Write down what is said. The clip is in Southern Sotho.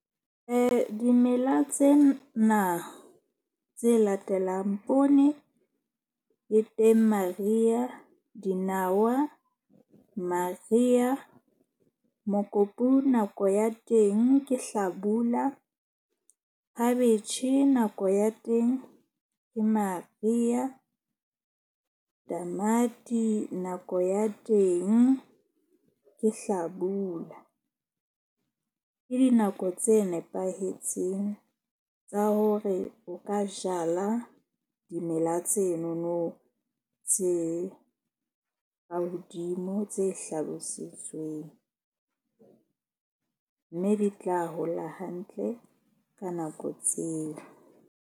Dimela tsena tse latelang poone e teng mariha, dinawa mariha, mokopu nako ya teng ke hlabula, khabetjhe nako ya teng ke mariha, tamati nako ya teng ke hlabula. Ke dinako tse nepahetseng tsa hore o ka jala dimela tsenono tse ka hodimo tse hlalositsweng. Mme di tla hola hantle ka nako tseo.